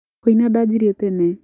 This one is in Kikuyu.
Kũina dajirie tene.